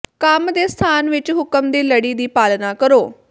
ਕੰਮ ਦੇ ਸਥਾਨ ਵਿਚ ਹੁਕਮ ਦੀ ਲੜੀ ਦੀ ਪਾਲਣਾ ਕਰੋ